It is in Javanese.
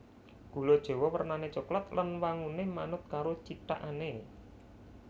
Gula jawa wernané coklat lan wanguné manut karo cithakané